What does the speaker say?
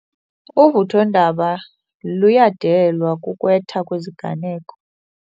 Uvuthondaba lulandelwa kukwetha kweziganeko.